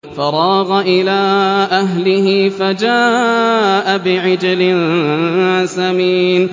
فَرَاغَ إِلَىٰ أَهْلِهِ فَجَاءَ بِعِجْلٍ سَمِينٍ